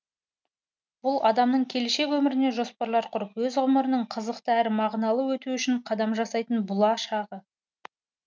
бұл адамның келешек өміріне жоспарлар құрып өз ғұмырының қызықты әрі мағыналы өтуі үшін қадам жасайтын бұла шағы